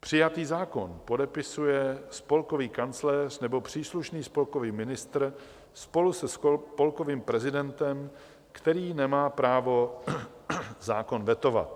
Přijatý zákon podepisuje spolkový kancléř nebo příslušný spolkový ministr spolu se spolkovým prezidentem, který nemá právo zákon vetovat.